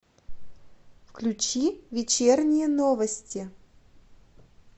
включи вечерние новости